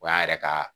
O y'an yɛrɛ ka